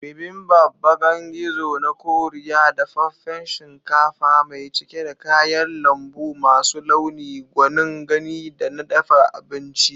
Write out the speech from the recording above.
Bibimbap, bakan gizo na Koriya, dafaffen shinkafa mai cike da kayan lambu masu launi, gwanin gani da na dafa abinci.